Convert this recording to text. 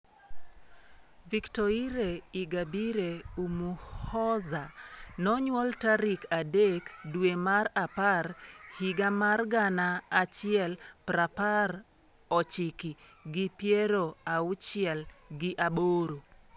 Victoire Ingabire Umuhoza nonyuol tarik adek dwe mar apar higa mar gana achiel prapar ochiki gi piero auchiel gi aboro.